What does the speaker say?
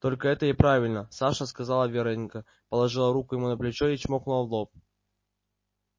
только это и правильно саша сказала вероника положила руку ему на плечо и чмокнула в лоб